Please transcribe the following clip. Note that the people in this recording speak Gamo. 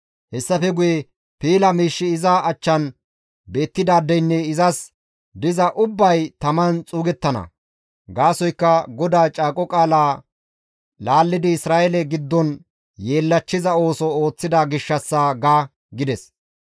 Hessafe guye piila miishshi iza achchan beettidaadeynne izas diza ubbay taman xuugettana. Gaasoykka GODAA Caaqo Qaalaa laallidi Isra7eele giddon yeellachchiza ooso ooththida gishshassa› ga» gides.